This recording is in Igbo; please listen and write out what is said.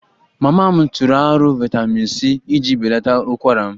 Mama m tụrụ aro vitamin c iji belata ukwara m